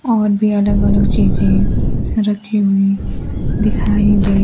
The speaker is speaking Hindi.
और भी अलग अलग चीजे रखी हुई दिखाई दे--